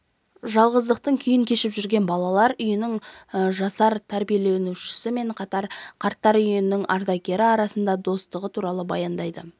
жалғыздықтың күйін кешіп жүрген балалар үйінің жасар тәрбиеленушісі мен қарттар үйінің ардагері арасындағы достығы туралы баяндайды